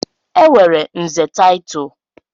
Enwere nze title.